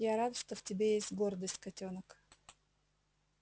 я рад что в тебе есть гордость котёнок